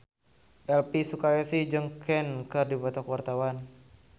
Elvi Sukaesih jeung Queen keur dipoto ku wartawan